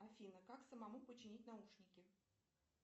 афина как самому починить наушники